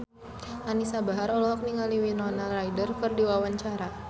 Anisa Bahar olohok ningali Winona Ryder keur diwawancara